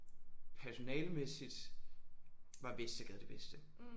Personalemæssigt var Vestergade det bedste